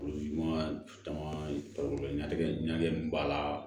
Olu ma caman balo ɲɛtɛ ɲagamin b'a la